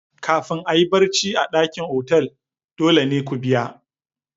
Kafin a yi barci a dakin otal dole ne ku biya.